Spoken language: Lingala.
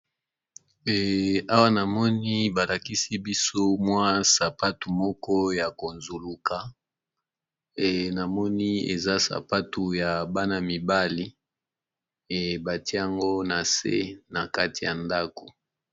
Awa na moni balakisi biso mwa sapatu moko ya ko nzuluka na moni eza sapatu ya bana mibali ebatie yango na se na kati ya ndako.